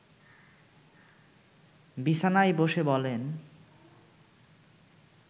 বিছানায় বসে বলেন